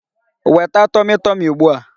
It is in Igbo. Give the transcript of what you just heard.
Weta tọmị tọmị ugbu a!